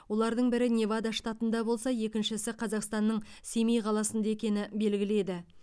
олардың бірі невада штатында болса екіншісі қазақстанның семей қаласында екені белгілі еді